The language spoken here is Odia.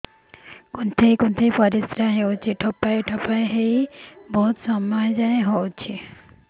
କୁନ୍ଥେଇ କୁନ୍ଥେଇ ପରିଶ୍ରା ହଉଛି ଠୋପା ଠୋପା ହେଇ ବହୁତ ସମୟ ଯାଏ ହଉଛି